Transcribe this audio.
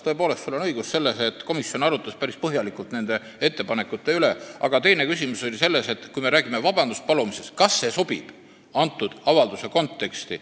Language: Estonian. Tõepoolest, sul on õigus selles, et komisjon arutas päris põhjalikult nende ettepanekute üle, aga teine küsimus, mis tõstatus, oli see, et kui me räägime vabanduse palumisest, siis on iseasi, kas see sobib just selle avalduse konteksti.